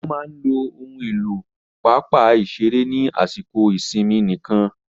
Wọ́n máa lo ohun èlò pápá ìṣeré ní àsìkò ìsinmi nìkan.